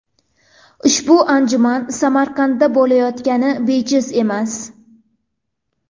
Ushbu anjuman Samarqandda bo‘layotgani bejiz emas.